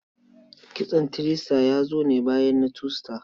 Kitson three star ya zo ne bayan na two star.